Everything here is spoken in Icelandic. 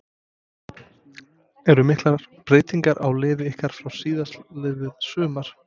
Eru miklar breytingar á liði ykkar frá því síðastliðið sumar?